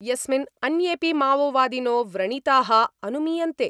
यस्मिन् अन्येपि माओवादिनो व्रणिता: अनुमीयन्ते।